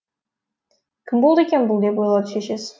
кім болды екен бұл деп ойлады шешесі